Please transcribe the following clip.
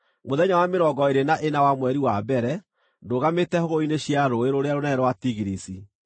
Mũthenya wa mĩrongo ĩĩrĩ na ĩna wa mweri wa mbere, ndũgamĩte hũgũrũrũ-inĩ cia, rũũĩ rũrĩa rũnene rwa Tigirisi,